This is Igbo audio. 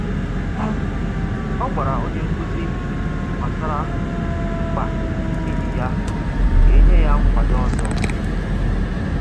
Ọ gwara onye nkuzi gbasara mkpa enyi ya ka e nye ya nkwado ọzọ